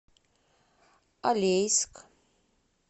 алейск